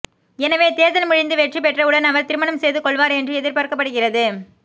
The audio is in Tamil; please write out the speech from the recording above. எனவே தேர்தல் முடிந்து வெற்றி பெற்றவுடன் அவர் திருமணம் செய்து கொள்வார் என்று எதிர்பார்க்கப்படுகிறது